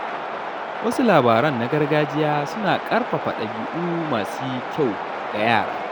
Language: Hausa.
Wasu labaran na gargajiya suna ƙarfafa ɗabi’u masu kyau ga yara.